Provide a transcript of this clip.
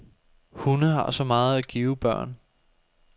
Hunde har så meget at give børn.